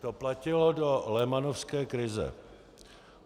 To platilo do lehmanovské krize.